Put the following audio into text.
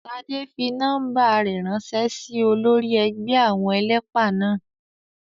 Ṣadé fi nọ́ọ́mbà rẹ̀ ránṣẹ́ sí olórí ẹgbẹ́ àwọn ẹlẹ́pà náà